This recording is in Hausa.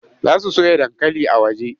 Za su soya dankali a waje.